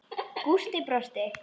Gústi brosti.